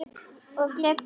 Og gleypir það.